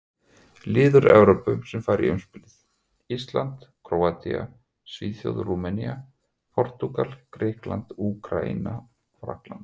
Lið úr Evrópu sem fara í umspilið: Ísland, Króatía, Svíþjóð, Rúmenía, Portúgal, Grikkland, Úkraína, Frakkland.